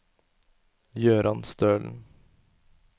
Jøran Stølen